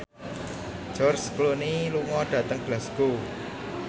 George Clooney lunga dhateng Glasgow